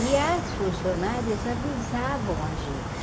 E as funcionárias avisavam a gente,